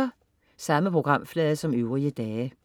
Samme programflade som øvrige dage